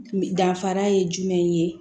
Danfara ye jumɛn ye